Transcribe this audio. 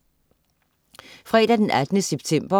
Fredag den 18. september